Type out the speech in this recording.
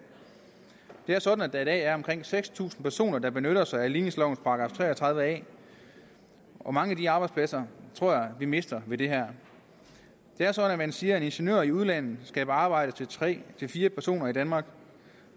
det er sådan at der er omkring seks tusind personer der benytter sig af ligningslovens § tre og tredive a og mange af de arbejdspladser tror jeg vi mister ved det her det er sådan at man siger at en ingeniør i udlandet skaber arbejde til tre til fire personer i danmark